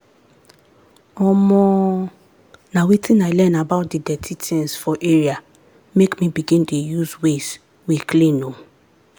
omoo na wetin i learn about the dirty things for area make me begin dey use ways we clean oo.